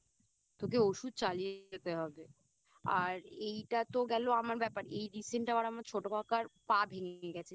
তোকে ওষুধ চালিয়েই যেতে হবে আর এইটা তো গেলো আমার ব্যাপার আর এই Recent আবার আমার ছোট কাকা পা ভেঙে গেছে